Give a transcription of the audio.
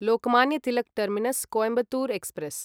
Lokmanya Tilak terminus Coimbatore express